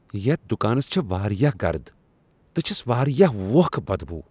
یتھ دکانس چھےٚ واریاہ گرٕد تہٕ چھس واریاہ ووکھہ بدبو۔